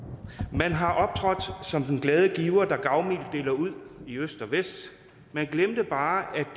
man har optrådt som den glade giver der gavmildt deler ud i øst og vest man glemte bare at